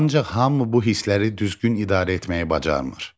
Ancaq hamı bu hissləri düzgün idarə etməyi bacarmır.